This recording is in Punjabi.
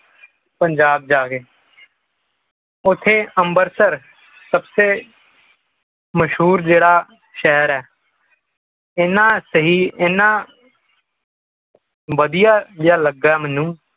ਪੰਜਾਬ ਜਾ ਕੇ ਓਥੇ ਅੰਬਰਸਰ ਸਭ ਤੋਂ ਮਸ਼ਹੂਰ ਜਿਹੜਾ ਸ਼ਹਿਰ ਹੈ ਇਹਨਾਂ ਸਹੀ ਇਹਨਾਂ ਵਧੀਆ ਜਿਹਾ ਲਗਾ ਮੈਨੂੰ